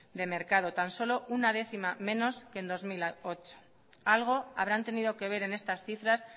de mercado tan solo una décima menos que en dos mil ocho algo habrán tenido que ver en estas cifras